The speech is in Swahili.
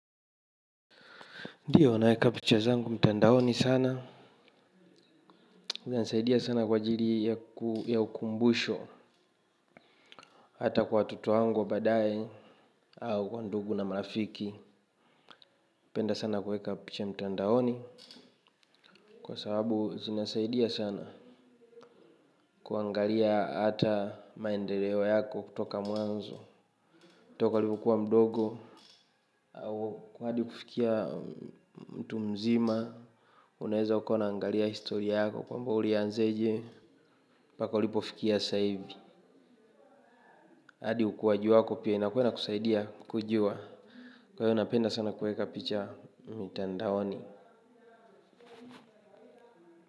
Ndiyo, naeka picha zangu mtandaoni sana. Zinanisaidia sana kwa ajili yaku ya ukumbusho. Hata kwa watoto wangu wa baadaye au wandugu na marafiki. Penda sana kuweka picha mtandaoni. Kwa sababu, zinasaidia sana. Kuangalia ata maendeleo yako kutoka mwanzo. Toka ulivokua mdogo au kwa hadi kufikia mtu mzima. Uneweza ukawa unaangalia historia yako kwamba ulianzeje paka ulipofikia saivi. Adi ukuaji wako pia inakuwa inakusaidia kujua kwa hiyo napenda sana kueka picha mitandaoni.